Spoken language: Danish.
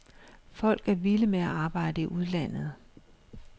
Folk er vilde med at arbejde i udlandet.